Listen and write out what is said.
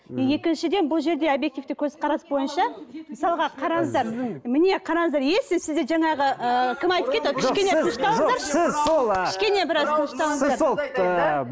екіншіден бұл жерде обьективті көзқарас бойынша мысалға қараңыздар міне қараңыздар если сізде жаңағы ыыы кім айтып кетті ғой